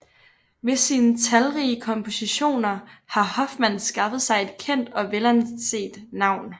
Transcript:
Ved sine talrige kompositioner har Hofmann skaffet sig et kendt og velanset navn